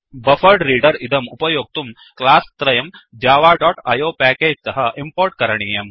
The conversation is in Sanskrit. बफरेड्रेडर इदम् उपयोक्तुं क्लास् त्रयं जव डोट् आईओ पैकेज तः इम्पोर्ट् करणीयम्